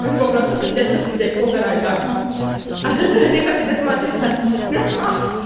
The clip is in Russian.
вроде бы просто посидеть попиздеть поугарать да а со стороны как это смотрится ха-ха